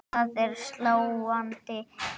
Það er sláandi munur.